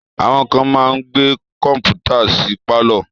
Àwọn kán máa ń gbé Kọ́mpútà sí pálọ̀